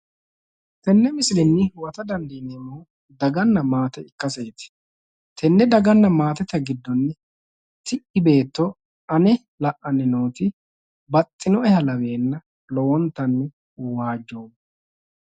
Tenne misilenni huwata dandiineemmohu daganna maate ikkaseeti. Tenne daganna maatete giddo ti'i beetto ane la'anni nooti baxxinoeha laweenna lowontanni waajjoommo.